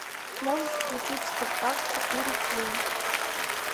можешь включить спартак четыре кей